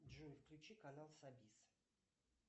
джой включи канал сабис